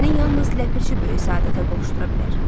Səni yalnız Ləpirçi böyük səadətə qovuşdura bilər.